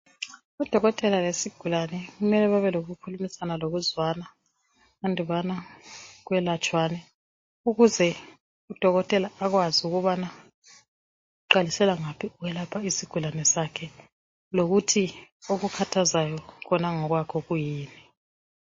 udokotela lesigulane mele kube lokukhulumisana lokuzwana endibana kwelatshwane ukuze udokotela pkwazi ubana uqalisela ngapji ukulapha isigulane sakhe lokuthu okunkhathazayo khona ngokwakho yikuyini